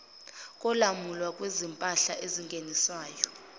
kolawulo lwezimpahla ezingeniswayo